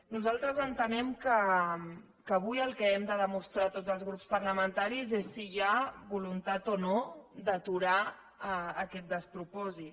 nosaltres entenem que avui el que hem de demostrar tots els grups parlamentaris és si hi ha voluntat o no d’aturar aquest despropòsit